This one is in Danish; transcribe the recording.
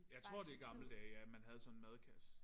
Jeg tror det i gamle dage ja man havde sådan en madkasse